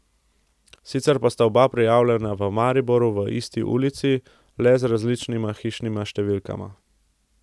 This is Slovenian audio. Sicer pa sta oba prijavljena v Mariboru v isti ulici, le z različnima hišnima številkama.